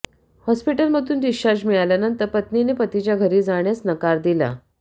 हॉस्पिटलमधून डिस्चार्ज मिळाल्यानंतर पत्नीने पतीच्या घरी जाण्यास नकार दिला